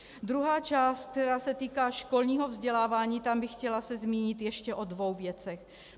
Druhá část, která se týká školního vzdělávání, tam bych se chtěla zmínit ještě o dvou věcech.